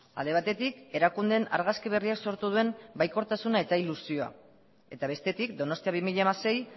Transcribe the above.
alde batetik erakundeen argazki berriak sortu duen baikortasuna eta ilusioa eta bestetik donostia bi mila hamasei